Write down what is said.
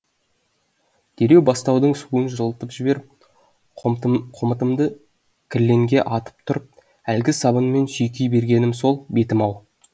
дереу бастаудың суын жылытып жіберіп қомытымды кірленге атып ұрып әлгі сабынмен сүйкей бергенім сол бетім ау